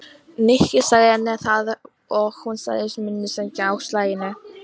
Nikki sagði henni það og hún sagðist mundu sækja hann á slaginu.